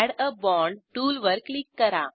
add a bond टूलवर क्लिक करा